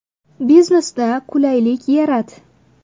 Biznesda qulaylik yarat.